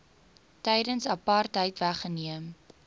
tydens apartheid weggeneem